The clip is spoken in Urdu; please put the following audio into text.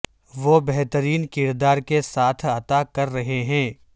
وہ بہترین کردار کے ساتھ عطا کر رہے ہیں